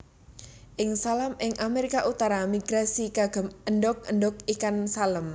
Ikan Salem ing Amerika utara migrasi kagem endog endog ikan salem